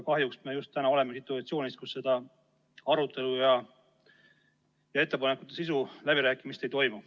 Kahjuks me täna oleme situatsioonis, kus arutelu ja ettepanekute sisu üle läbirääkimist ei toimu.